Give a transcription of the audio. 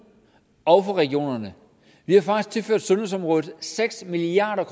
og regionerne vi har faktisk tilført sundhedsområdet seks milliard